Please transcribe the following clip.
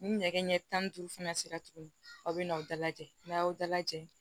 Ni ɲɛgɛn ɲɛ tan ni duuru fana sera tuguni aw be na aw da lajɛ n'a y'aw da lajɛ